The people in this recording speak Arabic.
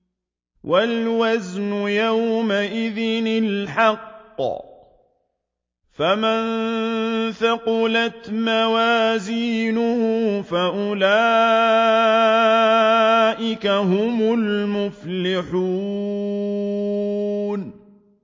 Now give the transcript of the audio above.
وَالْوَزْنُ يَوْمَئِذٍ الْحَقُّ ۚ فَمَن ثَقُلَتْ مَوَازِينُهُ فَأُولَٰئِكَ هُمُ الْمُفْلِحُونَ